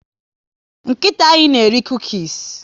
Nkịta anyị na eri cukies